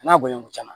N'a bonɲa kun caman